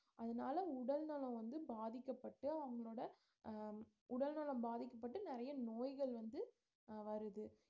அதனால உடல்நலம் வந்து பாதிக்கப்பட்டு அவங்களோட அஹ் உடல் நலம் பாதிக்கப்பட்டு நிறைய நோய்கள் வந்து அஹ் வருது